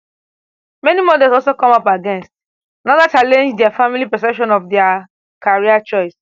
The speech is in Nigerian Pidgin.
many models also come up against anoda challenge dia family perception of dia career choice